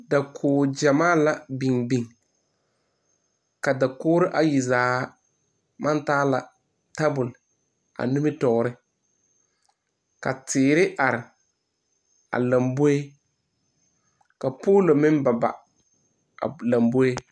Dakogigyamaa la biŋ biŋ ka dakogro ayi zaa maŋ taa la tabol a nimitɔɔre ka teere are lɔmboe ka poolo meŋ baba a lɔmboe.